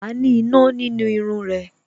Wa ni iná nínú irun rẹ